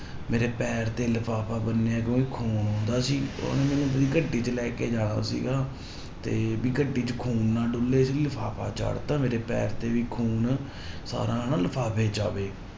ਮੇਰੇ ਪੈਰ ਤੇ ਲਿਫਾਫਾ ਬੰਨਿਆ ਕਿਉਂਕਿ ਖੂਨ ਆਉਂਦਾ ਸੀ, ਉਹਨੇ ਮੈਨੂੰ ਆਪਣੀ ਗੱਡੀ ਤੇ ਲੈ ਕੇ ਜਾਣਾ ਸੀਗਾ ਤੇ ਵੀ ਗੱਡੀ ਚ ਖੂਨ ਨਾ ਡੁੱਲੇ ਇਸ ਲਈ ਲਿਫ਼ਾਫ਼ਾ ਚਾੜ੍ਹ ਦਿੱਤਾ ਮੇਰੇ ਪੈਰ ਤੇ ਵੀ ਖੂਨ ਸਾਰਾ ਹਨਾ ਲਿਫ਼ਾਫ਼ੇ ਚ ਆਵੇ।